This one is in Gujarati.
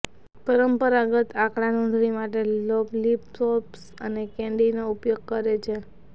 પરંપરાગત આંકડા નોંધણી માટે લોલિપોપ્સ અને કેન્ડી ઉપયોગ કરે છે